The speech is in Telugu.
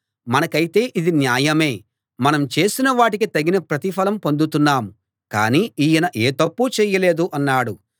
మనకైతే ఇది న్యాయమే మనం చేసిన వాటికి తగిన ప్రతిఫలం పొందుతున్నాం కానీ ఈయన ఏ తప్పూ చేయలేదు అన్నాడు